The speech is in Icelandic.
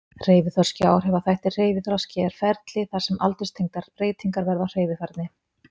Hreyfiþroski og áhrifaþættir Hreyfiþroski er ferli þar sem aldurstengdar breytingar verða á hreyfifærni.